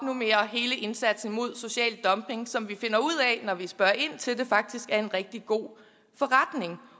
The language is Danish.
hele indsatsen mod social dumping som vi finder ud af når vi spørger ind til det faktisk er en rigtig god forretning